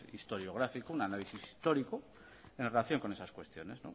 historiográfico un análisis histórico en relación con esas cuestiones